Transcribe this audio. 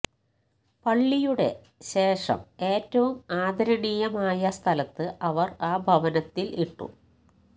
പള്ളിയുടെ ശേഷം ഏറ്റവും ആദരണീയമായ സ്ഥലത്ത് അവർ ആ ഭവനത്തിൽ ഇട്ടു